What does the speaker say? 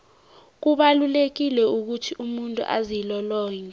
kubalulekile ukuthi umuntu azilolonge